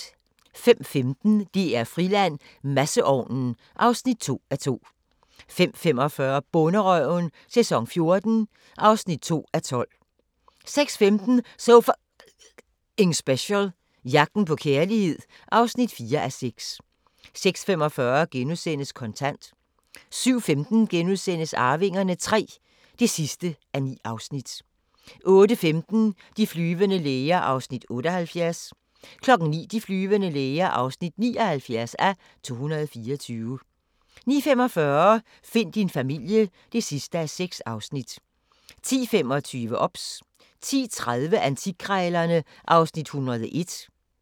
05:15: DR-Friland: Masseovnen (2:2) 05:45: Bonderøven - sæson 14 (2:12) 06:15: So F***ing Special – Jagten på kærlighed. (4:6) 06:45: Kontant * 07:15: Arvingerne III (9:9)* 08:15: De flyvende læger (78:224) 09:00: De flyvende læger (79:224) 09:45: Find min familie (6:6) 10:25: OBS 10:30: Antikkrejlerne (Afs. 101)